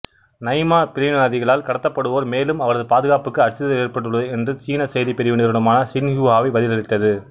Naimah பிரிவினைவாதிகளால் கடத்தப்படுவார்மேலும் அவரது பாதுகாப்புக்கு அச்சுறுத்தல் ஏற்பட்டுள்ளது என்று சீன செய்திப் பிரிவு நிறுவனமான சின்ஹுவா பதிலளித்தது